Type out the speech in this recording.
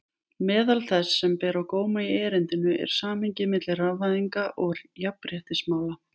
Meðal þess sem ber á góma í erindinu er samhengið milli rafvæðingar og jafnréttismála.